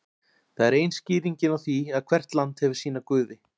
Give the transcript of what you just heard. það er ein skýringin á því að hvert land hefur sína guði